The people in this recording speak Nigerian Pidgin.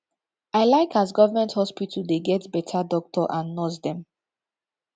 i like as government hospital dey get beta doctor and nurse dem